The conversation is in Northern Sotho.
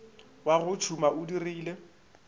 wa o tšhuma o dirile